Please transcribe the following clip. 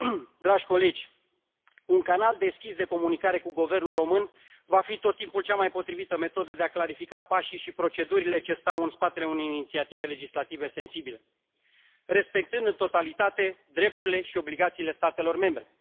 Domnule președinte, doamnă comisar, dragi colegi, un canal deschis de comunicare cu Guvernul român va fi tot timpul cea mai potrivită metodă de a clarifica pașii și procedurile ce stau în spatele unei inițiative legislative sensibile, respectând în totalitate drepturile și obligațiile statelor membre.